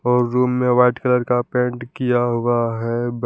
और रूम में white colour का पेंट किया हुआ है बे--